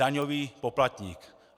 Daňový poplatník.